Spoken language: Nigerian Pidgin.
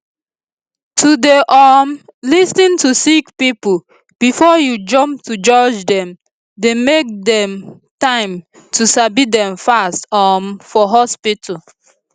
to dey um lis ten to sick pipo before u jump to judge dem dey make dem time to sabi dem fast um for hospitu